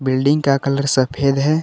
Building का colour सफेद है।